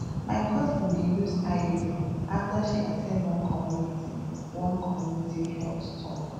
my cousin begin use iud after she at ten d one community one community health talk